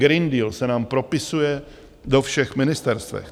Green Deal se nám propisuje do všech ministerstev.